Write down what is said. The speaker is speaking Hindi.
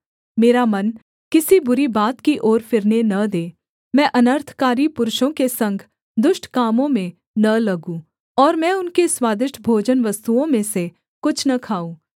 मेरा मन किसी बुरी बात की ओर फिरने न दे मैं अनर्थकारी पुरुषों के संग दुष्ट कामों में न लगूँ और मैं उनके स्वादिष्ट भोजनवस्तुओं में से कुछ न खाऊँ